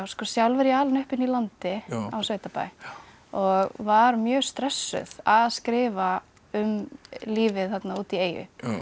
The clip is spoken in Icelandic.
sjálf er ég alin upp inn í landi á sveitabæ og var mjög stressuð að skrifa um lífið þarna úti í eyju